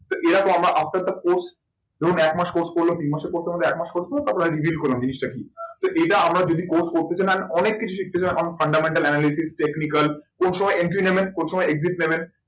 তো এরকম আমরা after the course ধরুন একমাস course করলো তিন মাসের course এর মধ্যে এক মাস course হলো তারপর reviled করলাম জিনিসটা কি। তো এটা আমরা যদি অনেক কিছু শিখতে চান technical কোন সময় entry নেবেন কোন সময় exit নেবেন?